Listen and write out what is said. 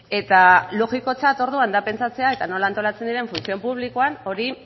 eta logikotzat orduan da pentsatzea eta nola antolatzen diren funtzio publikoan hori